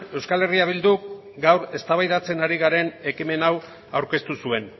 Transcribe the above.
euskal herria bilduk gaur eztabaidatzen ari garen ekimen hau aurkeztu zuen